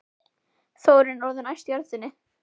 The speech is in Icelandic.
Þórunn er orðin æst í röddinni.